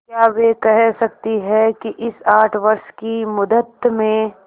क्या वे कह सकती हैं कि इस आठ वर्ष की मुद्दत में